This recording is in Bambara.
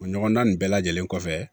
O ɲɔgɔnna nin bɛɛ lajɛlen kɔfɛ